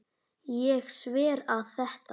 Ég sver að þetta.